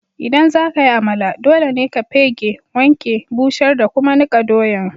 ldan zaka yi Amala, dole ne ka pegge, wanke, busher da kuma nikka doyan.